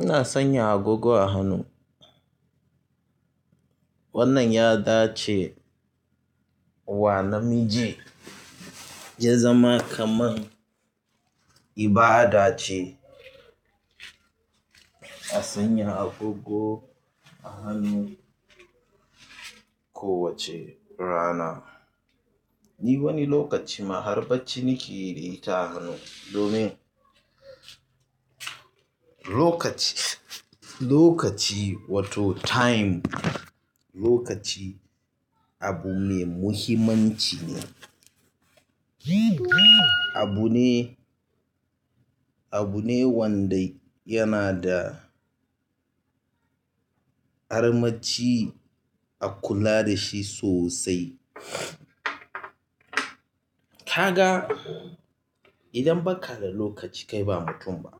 Ina sanya agogo a hannu. Wannan ya dace wa namiji ya zama kaman ibada ce. A sanya agogo a hannu kowace rana. Ni wani lokaci ma har bacci nake yi da ita a hannu domin. Lokaci, lokaci wato time, lokaci abu mai muhimmanci ne. Abu ne, abu ne wanda yana da. Armaci a kula da shi sosai. Ka ga idan ba ka da lokaci kai ba mutum ba.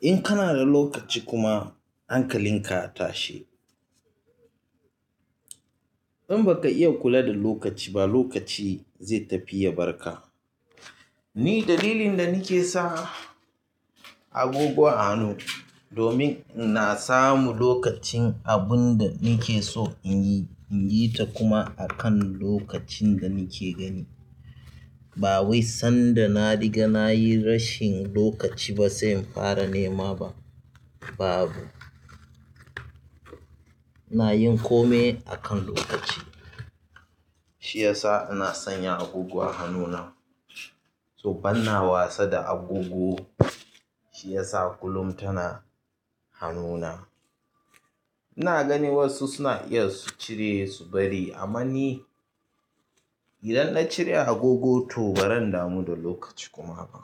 In kana da lokaci kuma an kalinka a tashe. In baka iya kula da lokaci ba lokaci zai tafi ya barka. Ni dalilin da nake sa agogo a hannu domin na samu lokacin abun da nake so in yi, in yi ta kuma a kan lokacin da nake gani. Bawai sanda na riga nayi rashin lokaci ba sai in ƙara nema ba babu. Ina yin kome a kan lokaci. Shi ya sa ina sanya agogo a hannuna. To ban na wasa da agogo, shi ya sa kullum tana hannuna. Ina gani wasu suna iya su cire su bari amman ni. Idan na cire agogo to baran damu da lokaci kuma ba.